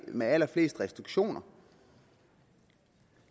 med allerflest restriktioner